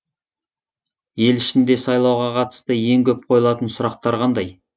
ел ішінде сайлауға қатысты ең көп қойылатын сұрақтар қандай